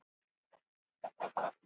Síðar gerði hann þessar vísur